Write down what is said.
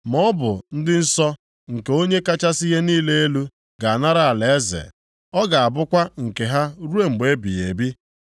Ma ọ bụ ndị nsọ nke Onye kachasị ihe niile elu, ga-anara alaeze. Ọ ga-abụkwa nke ha ruo mgbe ebighị ebi.’